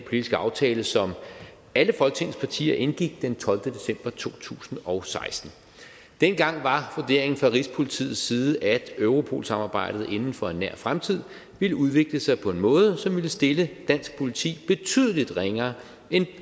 politiske aftale som alle folketingets partier indgik den tolvte december to tusind og seksten dengang var vurderingen fra rigspolitiets side at europol samarbejdet inden for nær fremtid ville udvikle sig på en måde som ville stille dansk politi betydelig ringere end